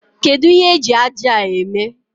Kedụ ihe eji ájá a eme?